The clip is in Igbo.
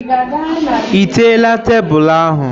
Ị teela tebụl ahụ?